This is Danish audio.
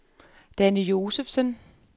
Danny Josefsen